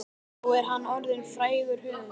Nú er hann orðinn frægur höfundur.